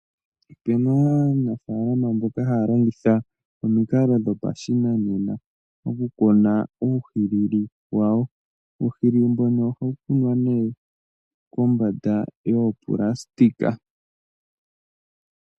Opena aanafaalama mboka haya longitha omikalo dhopashinanena oku kuna uuhilili wa wo. Uuhilili mbuno ohawu kunwa nee kombanda yoonayilona.